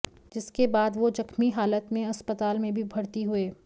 जिसके बाद वो जख्मी हालत में अस्पताल में भी भर्ती हुए